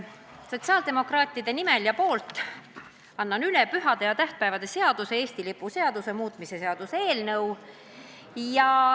Annan sotsiaaldemokraatide nimel üle pühade ja tähtpäevade seaduse ning Eesti lipu seaduse muutmise seaduse eelnõu.